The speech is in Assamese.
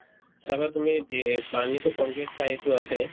চাবা তুমি পানীতো complete খাইতো আছেয়ে